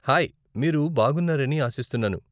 Hi, మీరు బాగున్నారని ఆశిస్తున్నాను ?